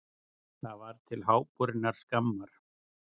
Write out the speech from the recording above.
Það var til háborinnar skammar.